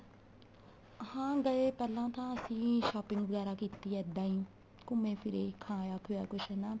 ਹਾਂ ਗਏ ਪਹਿਲਾਂ ਤਾਂ ਅਸੀਂ shopping ਵਗੈਰਾ ਕੀਤੀ ਇੱਦਾਂ ਈ ਘੁੰਮੇ ਫਿਰੇ ਖਾਇਆ ਪਿਆ ਕੁੱਝ ਨਾ